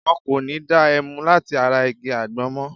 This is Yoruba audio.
Wọ́n kò ní da ẹmu láti ara igi àgbọn mọ.